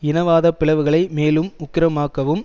இனவாத பிளவுகளை மேலும் உக்கிரமாக்கவும்